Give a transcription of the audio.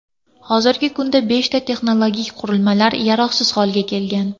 Hozirgi kunda beshta texnologik qurilmalar yaroqsiz holga kelgan.